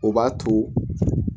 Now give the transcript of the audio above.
O b'a to